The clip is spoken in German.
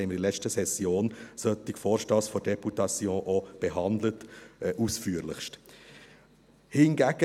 Wir haben in der letzten Session solche Vorstösse der Députation auch ausführlichst behandelt.